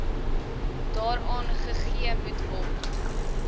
daaraan gegee moetword